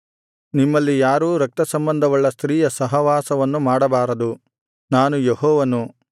ನಿಮ್ಮಲ್ಲಿ ಯಾರೂ ರಕ್ತಸಂಬಂಧವುಳ್ಳ ಸ್ತ್ರೀಯ ಸಹವಾಸವನ್ನು ಮಾಡಬಾರದು ನಾನು ಯೆಹೋವನು